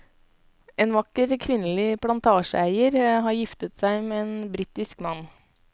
En vakker kvinnelig plantasjeeier, har giftet seg med en britisk mann.